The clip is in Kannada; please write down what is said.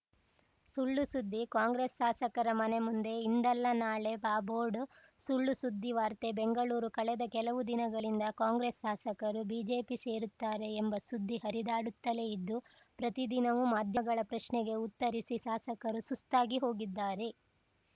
ಸುಳ್‌ ಸುದ್ದಿ ಕಾಂಗ್ರೆಸ್‌ ಶಾಸಕರ ಮನೆ ಮುಂದೆ ಇಂದಲ್ಲ ನಾಳೆ ಬಾ ಬೋರ್ಡ್‌ ಸುಳ್‌ ಸುದ್ದಿವಾರ್ತೆ ಬೆಂಗಳೂರು ಕಳೆದ ಕೆಲವು ದಿನಗಳಿಂದ ಕಾಂಗ್ರೆಸ್‌ ಶಾಸಕರು ಬಿಜೆಪಿ ಸೇರುತ್ತಾರೆ ಎಂಬ ಸುದ್ದಿ ಹರಿದಾಡುತ್ತಲೇ ಇದ್ದು ಪ್ರತಿದಿನವೂ ಮಾಧ್ಯಮಗಳ ಪ್ರಶ್ನೆಗೆ ಉತ್ತರಿಸಿ ಶಾಸಕರು ಸುಸ್ತಾಗಿಹೋಗಿದ್ದಾರೆ